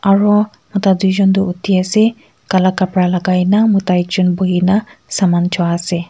aro mota doijun toh uthi asey kala kapara lagai na mota ek jun buhi na saman chu asey.